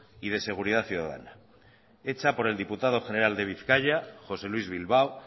y de seguridad ciudadana hecha por el diputado general de bizkaia josé luís bilbao